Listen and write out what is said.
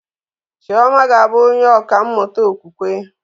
Chioma ga-abụ onye ọkà mmụta okwukwe